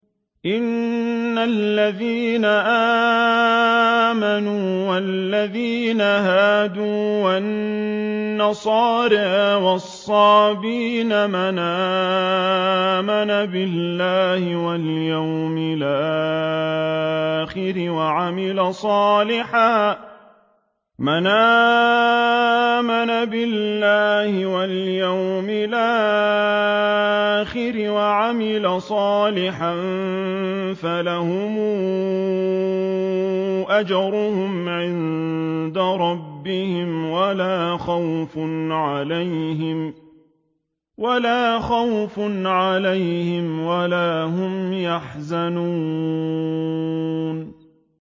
إِنَّ الَّذِينَ آمَنُوا وَالَّذِينَ هَادُوا وَالنَّصَارَىٰ وَالصَّابِئِينَ مَنْ آمَنَ بِاللَّهِ وَالْيَوْمِ الْآخِرِ وَعَمِلَ صَالِحًا فَلَهُمْ أَجْرُهُمْ عِندَ رَبِّهِمْ وَلَا خَوْفٌ عَلَيْهِمْ وَلَا هُمْ يَحْزَنُونَ